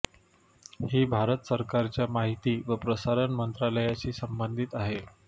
ही भारत सरकारच्या माहिती व प्रसारण मंत्रालयाशी संबंधित आहे